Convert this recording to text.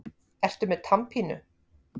Ertu með tannpínu?